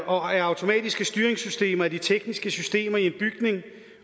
og automatiske styringssystemer er de tekniske systemer i en bygning